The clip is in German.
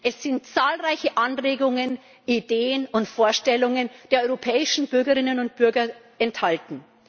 Es sind zahlreiche Anregungen, Ideen und Vorstellungen der europäischen Bürgerinnen und Bürger enthalten.